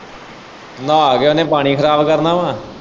ਨਾਹ ਕੇ ਉਹਨੇ ਪਾਣੀ ਖਰਾਬ ਕਰਨਾ।